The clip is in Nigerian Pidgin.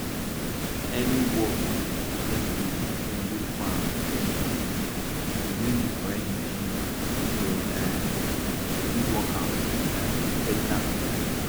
any work wey dey dey farm get machine if you use di correct machine you um go fit work am um beta and quick